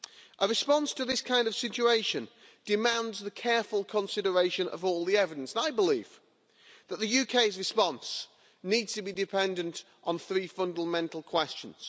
Our response to this kind of situation demands the careful consideration of all the evidence, and I believe that the UK's response needs to be dependent on three fundamental questions.